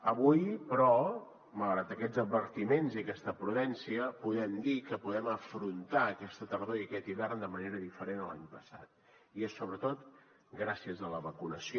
avui però malgrat aquests advertiments i aquesta prudència podem dir que podem afrontar aquesta tardor i aquest hivern de manera diferent a l’any passat i és sobretot gràcies a la vacunació